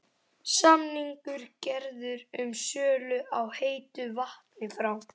Var umbylting kirkjunnar Guði þóknanleg þegar allt kom til alls?